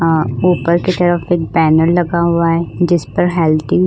अ ऊपर के तरफ एक पैनल लगा हुआ है जिसपर हैलतींग --